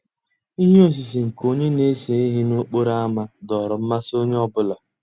Íhé òsìsé nkè ónyé ná-èsé íhé n'òkpòró ámá dòọ́rọ́ mmàsí ónyé ọ́ bụ́là.